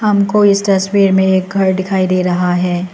हमको इस तस्वीर में एक घर दिखाई दे रहा है।